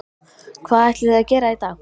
Hvað ætlið þið að gera í dag?